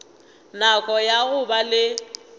nako ya go ba le